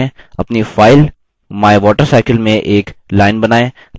अपनी file mywatercycle में एक line बनाएँ